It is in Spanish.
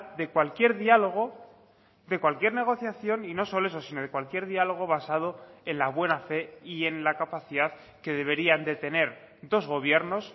de cualquier diálogo de cualquier negociación y no solo eso sino de cualquier diálogo basado en la buena fe y en la capacidad que deberían de tener dos gobiernos